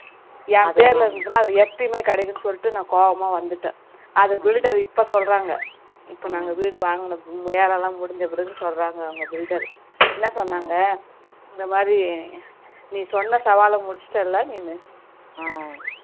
அதை builder இப்போ சொல்றாங்க இபோ நாங்க வீடு வாங்குன வேலைலாம் முடிஞ்ச பிறகு சொல்றாங்க அவங்க builder என்ன சொன்னாங்க இந்த மாதிரி நீ சொன்ன சாவால முடிச்சிட்டல நீனு